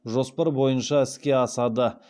жоспар бойынша іске асады